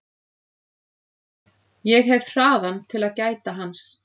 Ég hef hraðann til að gæta hans.